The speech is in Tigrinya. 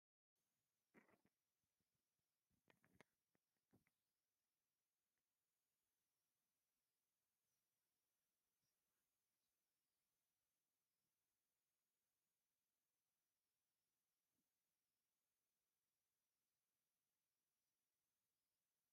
ኣቦታት ኣብ ጉዳይ ኮፍ ኢሎም ስማዋ እናሰተዩ እዮም ። እቲ ሓደ ስብኣይ ድማ ነፀልኡ ኣወንዚፉ እናታኣናገደ ይርኣ ። እቲ ስዋ ዝሰትይሉ እንታይ ይባሃል ?